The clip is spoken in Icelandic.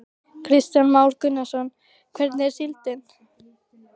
Kristján Már Unnarsson: Hvernig er síldin?